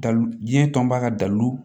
Dalu diɲɛ tɔnba ka dalu